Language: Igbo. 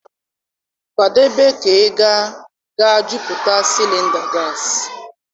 Kwadebe ka ị ga-aga jupụta cylinder gas.